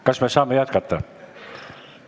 Kas me saame jätkata?